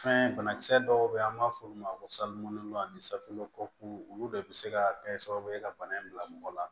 Fɛn banakisɛ dɔw bɛ yen an b'a f'olu ma ko ani safinɛko olu bɛɛ bɛ se ka kɛ sababu ye ka bana in bila mɔgɔ la